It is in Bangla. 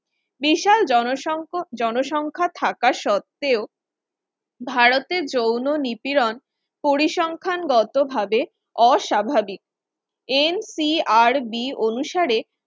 বিশাল জনসংখ জনসংখ্যা থাকা সত্ত্বেও ভারতে যৌন নিপীড়ন পরিসংখ্যানগতভাবে অস্বাভাবিক NCRB অনুসারে